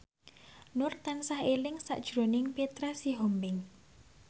Nur tansah eling sakjroning Petra Sihombing